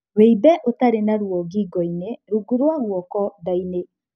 Wimbe ũtarĩ na ruo ngingo-inĩ, rungu rwa guoko, nda-inĩ.